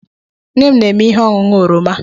Nne m na-eme ihe ọṅụṅụ oroma.